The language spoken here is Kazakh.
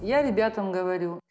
я ребятам говорю